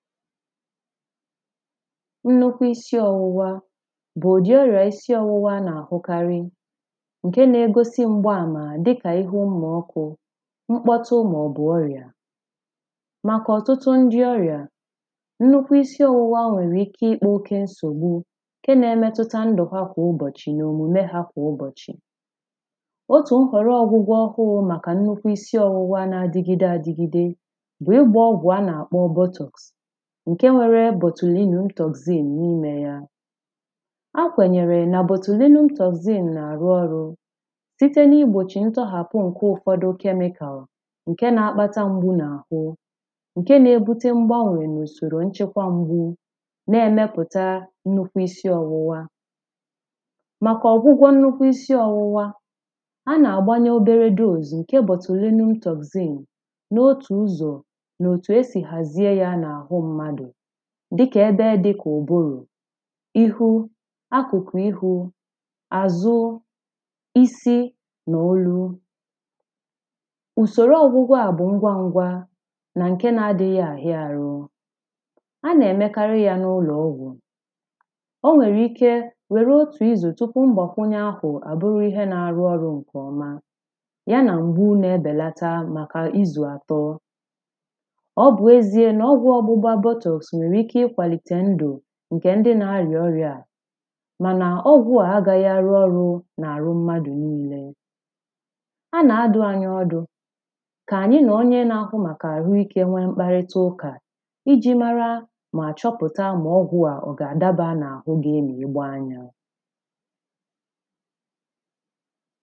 nnukwu isi ọwụwā bụ bụ udị ọrịa isi ọwụwā a na-ahụkarị̀ nke na-egosi mgbamara dịkà ihe ụmọ ọkụ̄ mkpọtụ maọbụ ọrịà makà ọtụtụ ndị ọrịà nnukwu isi ọwụwā nwere ike ikpa okē nsogbū nke na-emetụta ndụ ha kwa ụbọchị na omume ha kwa ụbọchị̀ otū nkwaru ọgwụgwọ ọhụrụ maka isi ọwụa na adigide adigidē bụ ịgba ọgwụ a na-akpọ bọtụ̄ nke nwere bọtụlinu togzin ńí:me yà a kwanyere bọtụlinu toxin na-arụ ọrụ̄ site na igbochi ntọghapụ ụfọdụ chemical nke na-akpata mgbu na ahụ̄ nke na-ebute mgbanwe na usoro nchekwa mgbū na-emeputà nnukwu isi ọwụwā nakwa ọgwụgwọ nnukwu isi ọwụwā a na-agbanye obere doze nke bọtụlinu toxin na otū ụzọ̀ na otū e si hazie ya na ahụ mmadụ̄ dịka ebe dịka ụbụrụ̀ ihu akụkụ ihū azu isi na olū usoro ọgwụgwọ à bụ ngwa ngwā na nke na adịghị ahịa arụ̄ a na-emekari ya na ụlọọgwụ̄ o nwere ike were otū izu tupu ngbakwunye ahụ abụrụ ihe na-arụ ọrụ nke ọmà ya na mgbu na-ebelata maka izu atọ̄ ọ bụ ezie na ọgwụ ọgbụgba botttles nwere ike ikwalite ndụ̄ nke ndị na-arịa ọrịà mana ọgwụ à agaghị ayị oyị na arụ mmadụ̄ niilē a na-adụ anyị ọdụ̄ ka anyị na onye na-ahụ maka ahụike nwe mkparịta ụkà iji mara ma chọpụta ma ọgwụ à ọ ga-adaba na ahụ gị ma ịgbá yā